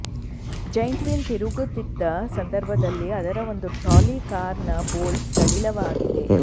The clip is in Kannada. ಜೈಂಟ್ ವ್ಹೀಲ್ ತಿರುಗುತ್ತಿದ್ದ ಸಂದರ್ಭದಲ್ಲಿ ಅದರ ಒಂದು ಟ್ರಾಲಿ ಕಾರ್ ನ ಬೋಲ್ಟ್ ಸಡಿಲವಾಗಿದೆ